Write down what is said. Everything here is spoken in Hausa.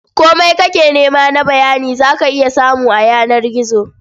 Komai kake nema na bayani za ka iya samu a yanar gizo.